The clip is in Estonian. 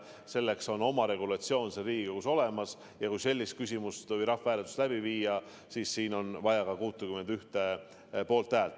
Selleks on oma regulatsioon Riigikogus olemas ja kui sellist rahvahääletust läbi viia, siis on vaja vähemalt 61 poolthäält.